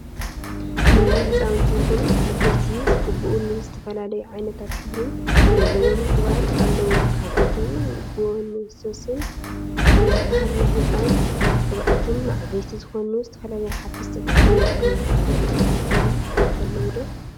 ንናይ ህፃውንቲ ይኩን ንዓበይቲ ዝቅብኡ ዝተፈላለዩ ዓይነትን ሕብሪን ዘለዎም ቅብአት አለው፡፡ ካብአቶም ጎህንሶንስ ዝበሃል ናይ ህፃን ቅብአትን ንዓበይቲ ዝኮኑ ዝተፈላለዩ ሓፈስቲ ቅብአትን ይርከቡ፡፡ ካልኦት እትፈልጥዎም ቅብአት አለው ዶ?